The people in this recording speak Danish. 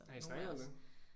Har I snakket om det?